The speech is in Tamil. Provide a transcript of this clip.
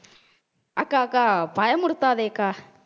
அக்கா அக்கா பயமுறுத்தாதே அக்கா